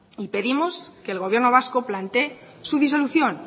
y pedimos que el gobierno vasco plantee su disolución